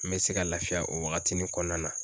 N bɛ se ka lafiya o wagati nin kɔnɔna na.